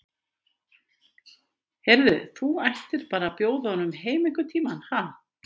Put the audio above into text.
Heyrðu. þú ættir bara að bjóða honum heim einhvern tíma, ha.